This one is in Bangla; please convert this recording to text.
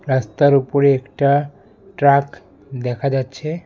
রাস্তার উপরে একটা ট্রাক দেখা যাচ্ছে।